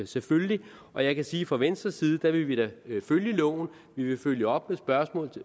selvfølgelig og jeg kan sige at fra venstres side vil vi da følge loven og vi vil følge op med spørgsmål